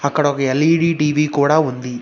అక్కడ ఒక LED TV కూడా ఉంది.